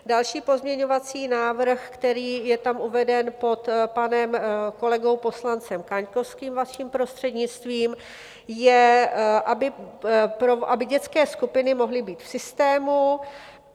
Další pozměňovací návrh, který je tam uveden pod panem kolegou poslancem Kaňkovským, vaším prostřednictvím, je, aby dětské skupiny mohly být v systému.